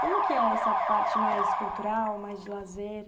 Como que é essa parte mais cultural, mais de lazer?